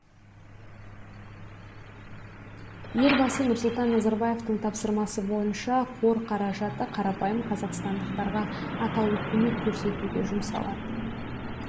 елбасы нұрсұлтан назарбаевтың тапсырмасы бойынша қор қаражаты қарапайым қазақстандықтарға атаулы көмек көрсетуге жұмсалады